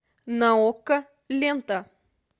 на окко лента